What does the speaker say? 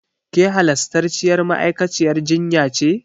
Ke halastarciyar ma'aikaciyar jinya ce?